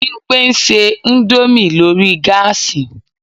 Bímpé ń ṣe indomie lórí gáàsì